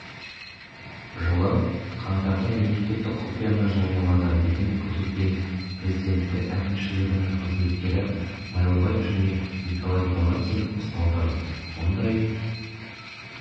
жылы қаңтарда мемлекеттік құпияны жариялады деген күдікпен президенті әкімшілігінің қызметкері майлыбаев және николай галихин ұсталды мұндай